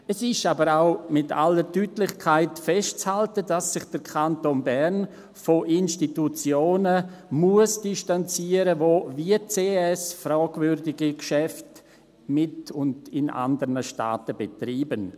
Es ist aber auch mit aller Deutlichkeit festzuhalten, dass sich der Kanton Bern von Institutionen distanzieren muss, die, wie die CS, fragwürdige Geschäfte mit und in anderen Staaten betreiben.